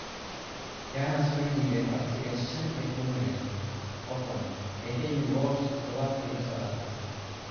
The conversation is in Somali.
Gunners way diideen codsiga shan iyo tawan malyan oo pond ee ka yimid Wolves toddobaadkii la soo dhaafay.